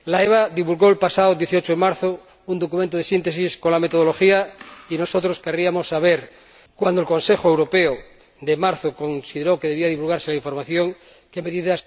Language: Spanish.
La Autoridad Bancaria Europea divulgó el pasado 18 de marzo un documento de síntesis con la metodología y nosotros querríamos saber, cuando el Consejo Europeo de marzo consideró que debía divulgarse la información, qué medidas